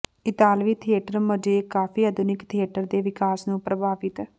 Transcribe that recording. ਇਤਾਲਵੀ theatre mosaic ਕਾਫ਼ੀ ਆਧੁਨਿਕ ਥੀਏਟਰ ਦੇ ਵਿਕਾਸ ਨੂੰ ਪ੍ਰਭਾਵਿਤ